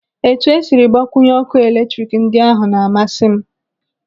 Etu esiri gbakwunye ọkụ eletrik ndị ahụ na-amasị m.